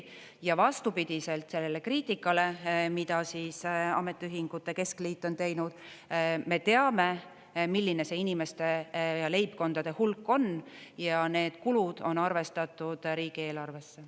Ja vastupidiselt sellele kriitikale, mida ametiühingute keskliit on teinud, me teame, milline see inimeste ja leibkondade hulk on, ja need kulud on arvestatud riigieelarvesse.